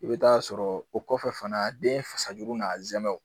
I bɛ taa sɔrɔ o kɔfɛ fana den fasa juru n'a zɛmɛ